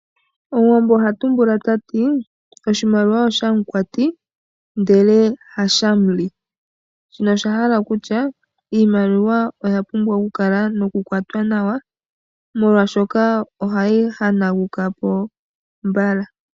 Omuwambo oha tumbula tati: oshimaliwa osha mukwati, ndele hasha muli ,shino oshahala kutya iimaliwa oya pumbwa oku kwatwa nawa molwashoka ohayi hanaukapo mbala.